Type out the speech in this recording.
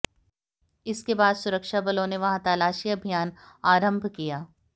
इसके बाद सुरक्षा बलों ने वहां तलाशी अभियान आरंभ किया